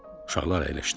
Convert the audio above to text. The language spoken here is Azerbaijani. Uşaqlar əyləşdilər.